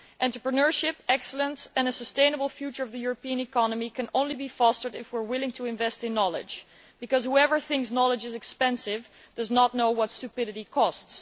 Entrepreneurship, excellence and a sustainable future of the European economy can only be fostered if we are willing to invest in knowledge, because whoever thinks knowledge is expensive does not know what stupidity costs.